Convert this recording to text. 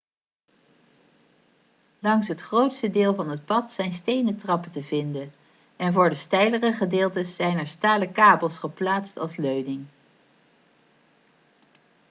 langs het grootste deel van het pad zijn stenen trappen te vinden en voor de steilere gedeeltes zijn er stalen kabels geplaatst als leuning